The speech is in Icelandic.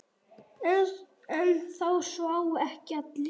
En það sváfu ekki allir.